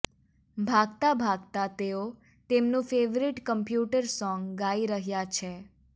ભાગતાં ભાગતાં તેઓ તેમનું ફેવરીટ કમ્પ્યુટર સોંગ ગાઈ રહ્યા છેઃ